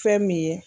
Fɛn min ye